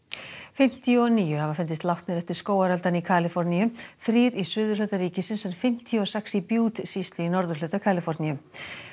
fimmtíu og níu hafa fundist látnir eftir skógareldana í Kaliforníu þrír í suðurhluta ríkisins en fimmtíu og sex í sýslu í norðurhluta Kaliforníu